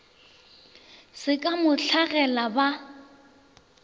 se ka mo hlagela ba